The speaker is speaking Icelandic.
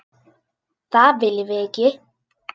Það viljum við ekki.